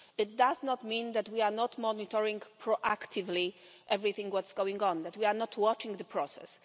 It does not mean that we are not monitoring proactively everything that is going on, that we are not watching the process.